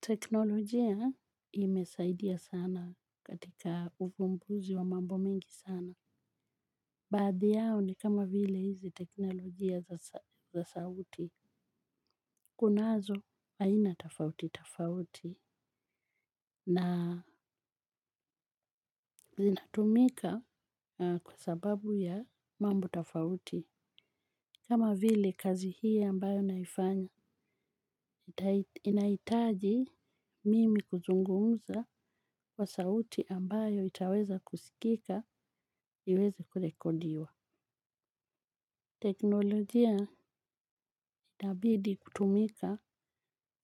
Teknolojia imesaidia sana katika ufumbuzi wa mambo mingi sana. Baadhi yao ni kama vile hizi teknolojia za sauti. Kunazo aina tofauti tofauti na zinatumika kwa sababu ya mambo tofauti. Kama vile kazi hii ambayo naifanya inaitaji mimi kuzungumuza wa sauti ambayo itaweza kusikika iweze kurekodiwa. Teknolojia itabidi kutumika